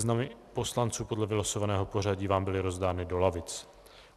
Seznamy poslanců podle vylosovaného pořadí vám byly rozdány do lavic.